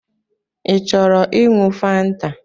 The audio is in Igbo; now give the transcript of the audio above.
Ị chọrọ iṅụ fanta?